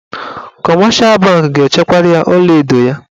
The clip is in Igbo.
Kọmeshal bankị ga-echekwara ya ọlaedo ya.